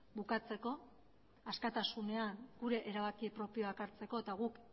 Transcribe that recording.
bukatzeko askatasunean gure erabaki propioak hartzeko eta guk